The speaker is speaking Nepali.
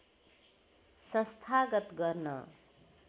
संस्थागत गर्न